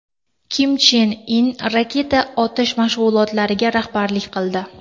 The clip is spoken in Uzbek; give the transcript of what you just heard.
Kim Chen In raketa otish mashg‘ulotlariga rahbarlik qildi.